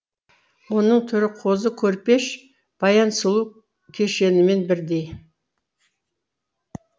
оның түрі қозы көрпеш баян сұлу кешенімен бірдей